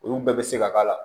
Olu bɛɛ bɛ se ka k'a la